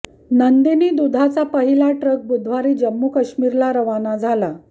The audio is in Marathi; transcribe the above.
नंदिनी दुधाचा पहिला ट्रक बुधवारी जम्मू काश्मीरला रवाना झाला